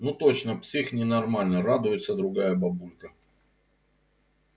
ну точно псих ненормальный радуется другая бабулька